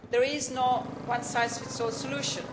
There is no one size fits all solution.